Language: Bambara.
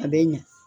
A bɛ ɲa